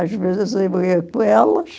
Às vezes eu ia com elas.